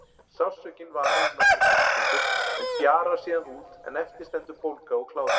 Sársaukinn varir í nokkrar klukkustundir en fjarar síðan út en eftir stendur bólga og kláði.